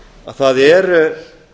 að það er